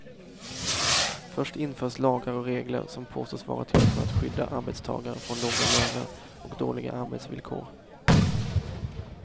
Först införs lagar och regler som påstås vara till för att skydda arbetstagare från låga löner och dåliga arbetsvillkor.